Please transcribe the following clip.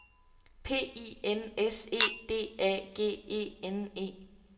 P I N S E D A G E N E